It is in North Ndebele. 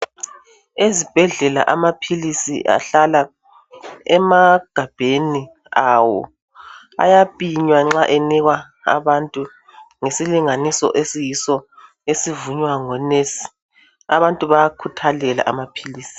Ezibhedlela amaphilisi ahlala emagabheni awo ayapinywa nxa enikwa abantu ngesilinganiso esiyiso esivunywa ngo"nurse".Abantu bayakhuthalela amaphilisi.